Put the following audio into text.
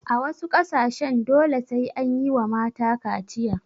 A wasu ƙasashen dole sai anyiwa mata kaciya